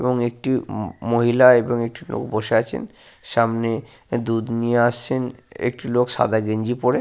এবং একটি ম মহিলা এবং একটি লোক বসে আছেন। সামনে দুধ নিয়ে আসছেন একটি লোক সাদা গেঞ্জি পরে।